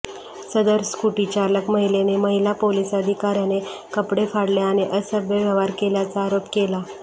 सदर स्कुटीचालक महिलेने महिला पोलीस अधिकार्याने कपडे फाडले आणि असभ्य व्यवहार केल्याचा आरोप केला